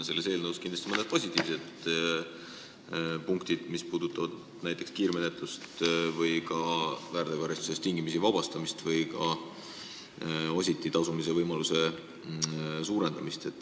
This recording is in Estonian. Selles eelnõus on mõned positiivsed punktid, mis puudutavad näiteks kiirmenetlust, väärteokaristusest tingimisi vabastamist või ka ositi tasumise võimaluse parandamist.